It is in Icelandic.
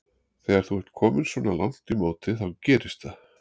Þegar þú ert kominn svona langt í móti þá gerist það.